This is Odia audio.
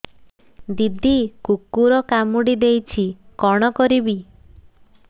ଦିଦି କୁକୁର କାମୁଡି ଦେଇଛି କଣ କରିବି